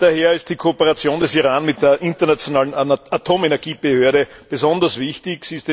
Daher ist die Kooperation des Iran mit der Internationalen Atomenergiebehörde besonders wichtig.